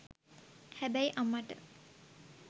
හැබැයි අම්මට.